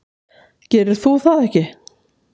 Gerir þú það ekki?